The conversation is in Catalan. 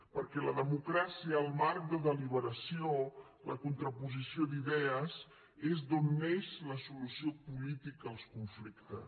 perquè la democràcia el marc de deliberació la contraposició d’idees és d’on neix la solució política als conflictes